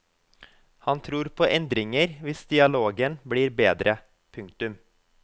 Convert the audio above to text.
Han tror på endringer hvis dialogen blir bedre. punktum